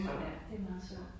Ja. Det meget sjovt